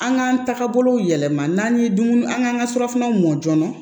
An k'an taabolow yɛlɛma n'an ye dumuni an k'an ka surafanaw mɔ joona